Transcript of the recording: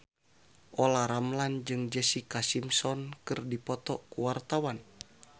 Olla Ramlan jeung Jessica Simpson keur dipoto ku wartawan